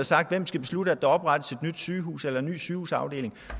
sagt hvem skal beslutte at der oprettes et nyt sygehus eller en ny sygehusafdeling